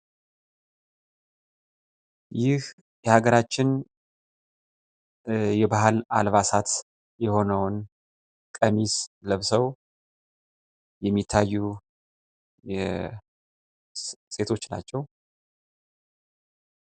ይህ የሀገራችን የባህል አልባሳት የሆነው ቀሚስ ለብሰው የሚታዩ ሴቶች ናቸው።